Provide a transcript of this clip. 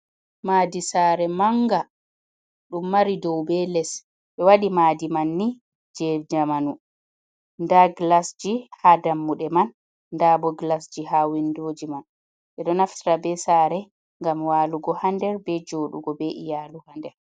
Madi sare manga ɗum mari dau be les, be wadi madi manni je zamanu, da gilasji ha dammuɗe man, dabo gilasji ha windoji man, ɓe do naftita be sare gam walugo, hander be jodugo be iyalu hader.